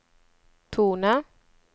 tone